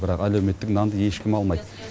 бірақ әлеуметтік нанды ешкім алмайды